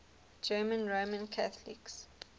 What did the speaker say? german roman catholics